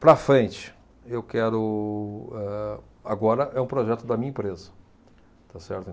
Para frente, eu quero, âh, agora é um projeto da minha empresa, está certo?